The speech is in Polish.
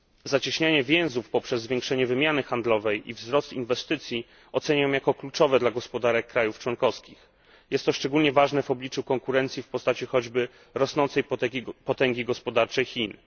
Zacieśnianie więzów poprzez zwiększenie wymiany handlowej i wzrost inwestycji oceniam jako kluczowe dla gospodarek państw członkowskich. Jest to szczególnie ważne w obliczu konkurencji w postaci choćby rosnącej potęgi gospodarczej Chin.